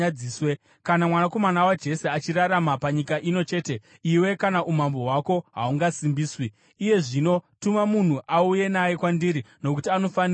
Kana mwanakomana waJese achirarama panyika ino chete, iwe kana umambo hwako haungasimbiswi. Iye zvino tuma munhu auye naye kwandiri, nokuti anofanira kufa!”